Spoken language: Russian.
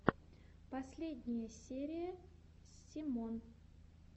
последняя серия семон